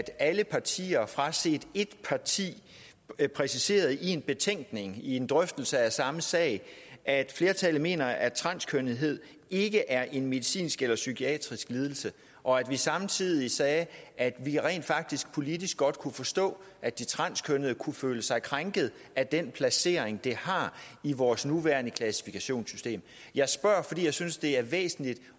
alle partier fraset ét parti præciserede i en betænkning i en drøftelse af samme sag at flertallet mener at transkønnethed ikke er en medicinsk eller psykiatrisk lidelse og at vi samtidig sagde at vi rent faktisk politisk godt kunne forstå at de transkønnede kunne føle sig krænket af den placering det har i vores nuværende klassifikationssystem jeg spørger fordi jeg synes det er væsentligt